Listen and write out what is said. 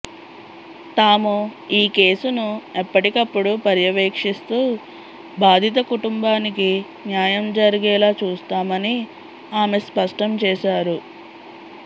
తాము ఈ కేసును ఎప్పటికప్పుడు పర్యవేక్షిస్తూ బాధిత కుటుంబానికి న్యాయం జరిగేలా చూస్తామని ఆమె స్పష్టం చేశారు